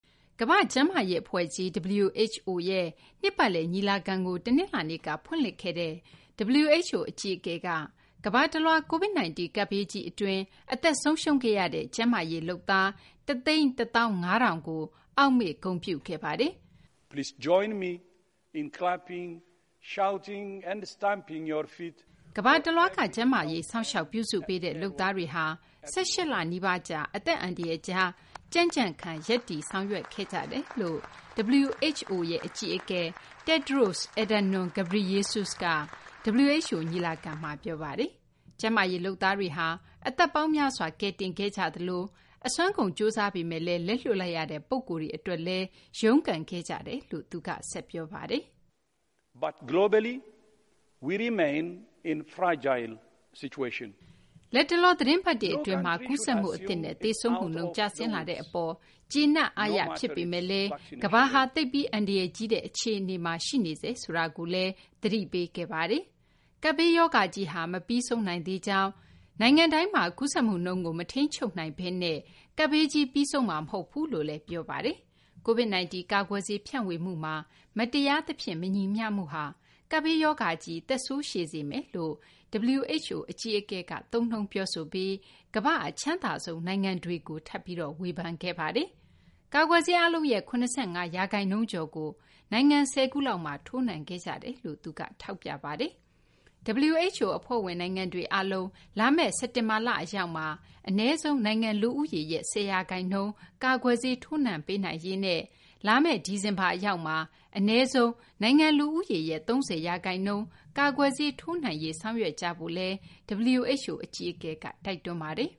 ကမ္ဘာ့ကျန်းမာရေး အဖွဲ့ကြီး WHO ရဲ့ နှစ်ပတ်လည် ညီလာခံကို တနလာၤနေ့က ဖွင့်လှစ်ခဲ့တဲ့ WHO အကြီးအကဲက ကမ္ဘာတလွှား Covid-19 ကပ်ဘေးကြီး အတွင်း အသက်ဆုံးရှုံးခဲ့ရတဲ့ ကျန်းမာရေး လုပ်သား ၁၁၅,၀၀၀ ကို အောက်မေ့ ဂုဏ်ပြုခဲ့ပါတယ်။ ကမ္ဘာတလွှားက ကျန်းမာရေး စောင့်ရှောက် ပြုစုပေးတဲ့ လုပ်သားတွေဟာ ၁၈ လ နီးပါးကြာ အသက်အန္တရာယ်ကြားမှာ ကြံ့ကြံ့ခံ ရပ်တည် ဆောင်ရွက်ခဲ့ကြတယ်လို့ WHO အကြီးအကဲ Tedros Adhanom Ghebreyesus က WHO ညီလာခံမှာ ပြောပါတယ်။ ကျန်းမာရေး လုပ်သားတွေဟာ အသက်ပေါင်းများစွာ ကယ်တင်ခဲ့ကြသလို၊ အစွမ်းကုန် ကြိုးစားပေမယ့်လည်း လက်လွှတ်လိုက်ရတဲ့ ပုဂ္ဂိုလ်တွေ အတွက်လည်း ရုန်းကန်ခဲ့ကြတယ်လို့လည်း သူက ဆက်ပြောပါတယ်။ လတ်တလော သီတင်းပတ်တွေ အတွင်းမှာ ကူးစက်မှုအသစ်နဲ့ သေဆုံးမှုနှုန်း ကျဆင်းလာတဲ့ အပေါ်မှာ ကျေနပ်အားရ ဖြစ်ပေမယ့်လည်း ကမ္ဘာဟာ သိပ်ပြီး အန္တရာယ်ကြီးတဲ့ အခြေအနေမှာ ရှိနေဆဲ ဆိုတာကိုလည်း သတိပေးခဲ့ပါတယ်။ ကပ်ဘေးရောဂါကြီးက မပြီးဆုံးသေးကြောင်း၊ နိုင်ငံတိုင်းမှာ ကူးစက်မှုနှုန်းကို မထိန်ချုပ်နိုင်ဘဲနဲ့ ကပ်ဘေးကြီး ပြီးဆုံးမှာ မဟုတ်ဘူးလို့လည်း ပြောပါတယ်။ Covid-19 ကာကွယ်ဆေး ဖြန့်ဝေမှုမှာ မတရားသဖြင့် မညီမျှမှုဟာ ကပ်ဘေးရောဂါကြီး သက်ဆိုးရှည်စေမယ်လို့ WHO အကြီးအကဲက သုံးနှုန်းပြီး ကမ္ဘာ့ အချမ်းသာဆုံး နိုင်ငံတွေကို ထပ်ပြီး ဝေဖန်ခဲ့ပါတယ်။ ကာကွယ်ဆေးအားလုံးရဲ့ ၇၅ ရာခိုင်နှုန်းကျော်ကို နိုင်ငံ ၁၀ ခုလောက်မှာ ထိုးနှံခဲ့ကြောင်းလည်း သူက ထောက်ပြပါတယ်။ WHO အဖွဲ့ဝင် နိုင်ငံတွေ အားလုံး လာမယ့် စက်တင်ဘာလ အရောက်မှာ အနည်းဆုံး နိုင်ငံ လူဦးရေရဲ့ ၁၀ ရာခိုင်နှုန်းကို ကာကွယ်ဆေး ထိုးနှံပေးနိုင်ရေးနဲ့ လာမယ့် ဒီဇင်ဘာ အရောက်မှာ အနည်းဆုံး နိုင်ငံ လူဦးရေရဲ့ ၃၀ ရာခိုင်နှုန်း ကာကွယ်ဆေးထိုးနှံရေး ဆောင်ရွက်ကြဖို့လည်း WHO အကြီးအကဲက တိုက်တွန်းပါတယ်